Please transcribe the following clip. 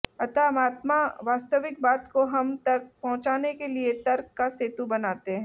अतः महात्मा वास्तविक बात को हम तक पहुंचाने के लिए तर्क का सेतु बनाते हैं